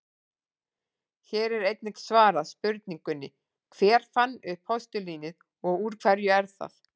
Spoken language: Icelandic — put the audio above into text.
Hér er einnig svarað spurningunni: Hver fann upp postulínið og úr hverju er það?